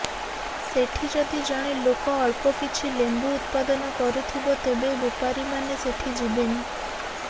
ସେଠି ଯଦି ଜଣେ ଲୋକ ଅଳ୍ପକିଛି ଲେମ୍ବୁ ଉତ୍ପାଦନ କରୁଥିବ ତେବେ ବେପାରୀମାନେ ସେଠି ଯିବେନି